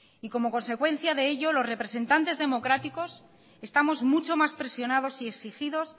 y como consecuencia de ello los representantes democráticos estamos mucho más presionados y exigidos